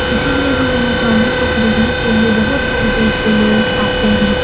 इसीलिये लोग यहाँ चाउमीन को खरीदने के लिये बहुत दूर-दूर से लोग आते हैं।